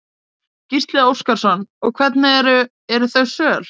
Gísli Óskarsson: Og hvernig eru, eru þau söl?